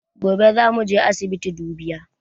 Gobe zamu je asibiti dubiya